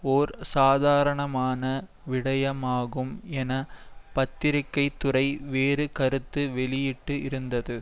ஓர் சாதாரணமான விடயமாகும் என பத்திரிகை துறை வேறு கருத்து வெளியிட்டு இருந்தது